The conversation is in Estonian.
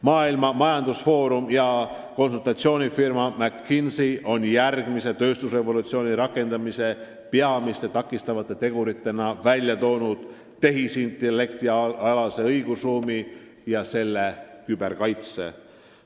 Maailma Majandusfoorum ja konsultatsioonifirma McKinsey on järgmise tööstusrevolutsiooni käivitumise peamiste takistavate teguritena nimetanud tehisintellektialast õigusruumi ja selle küberkaitset.